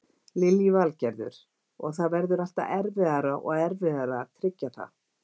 Lillý Valgerður: Og það verður alltaf erfiðara og erfiðara að tryggja það?